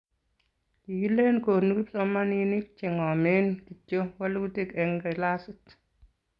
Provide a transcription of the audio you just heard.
Kikileni konu kipsomaninik che ng'omen kityo walutik eng' kilasit.